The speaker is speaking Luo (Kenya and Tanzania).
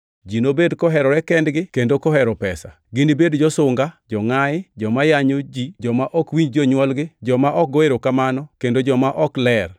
Ji nobed koherore kendgi kendo kohero pesa. Ginibed josunga, jongʼayi, joma yanyo ji, joma ok winj jonywolgi, joma ok go erokamano, kendo joma ok ler,